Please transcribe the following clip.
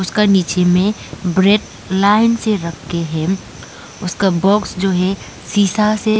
उसका नीचे में ब्रेड लाइन से रखके है उसका बॉक्स जो है सीसा से--